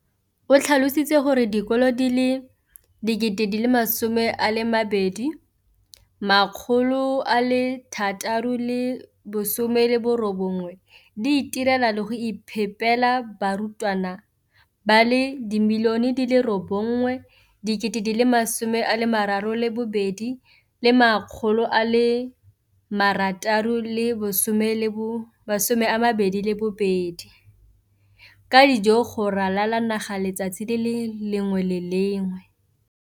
o tlhalositse gore dikolo di le 20 619 di itirela le go iphepela barutwana ba le 9 032 622 ka dijo go ralala naga letsatsi le lengwe le le lengwe.